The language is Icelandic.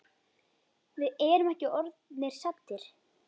Við erum ekki orðnir saddir.